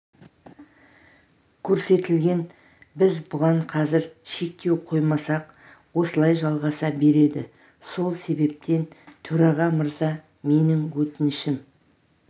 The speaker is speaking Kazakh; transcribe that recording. көрсетілген біз бұған қазір шектеу қоймасақ осылай жалғаса береді сол себептен төраға мырза менің өтінішім